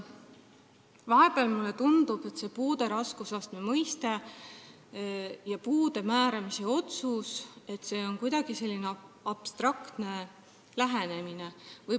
Vahepeal mulle tundub, et puude raskusastme mõiste ise ja puude määramise otsus – siin on kuidagi abstraktne lähenemine.